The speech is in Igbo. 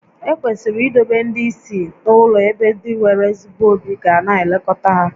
Ekwesịrị idobe ndị ìsì n'ụlọ ebe ndị nwere ezigbo obi ga na-elekọta ha